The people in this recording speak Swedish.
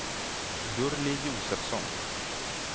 Gurli Josefsson